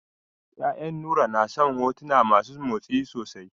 Ƴaƴan Nura na son hotuna masu motsi sosai.